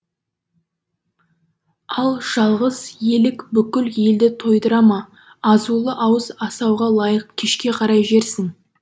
ал жалғыз елік бүкіл елді тойдыра ма азулы ауыз асауға лайық кешке қарай жерсің